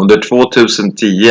"under 2010